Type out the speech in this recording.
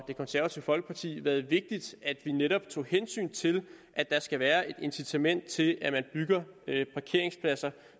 det konservative folkeparti været vigtigt at vi netop tog hensyn til at der skal være et incitament til at man bygger parkeringspladser